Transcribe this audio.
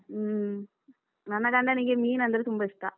ಹ್ಮ್, ನನ್ನ ಗಂಡನಿಗೆ ಮೀನಂದ್ರೆ ತುಂಬ ಇಷ್ಟ.